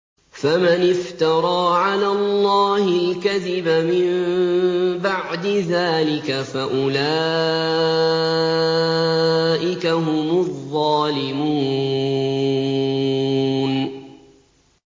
فَمَنِ افْتَرَىٰ عَلَى اللَّهِ الْكَذِبَ مِن بَعْدِ ذَٰلِكَ فَأُولَٰئِكَ هُمُ الظَّالِمُونَ